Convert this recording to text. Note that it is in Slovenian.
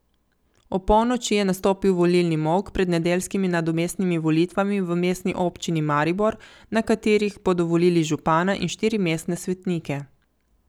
Opolnoči je nastopil volilni molk pred nedeljskimi nadomestnimi volitvami v Mestni občini Maribor, na katerih bodo volili župana in štiri mestne svetnike.